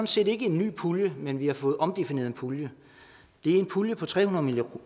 set ikke en ny pulje men vi har fået omdefineret en pulje det er en pulje på tre hundrede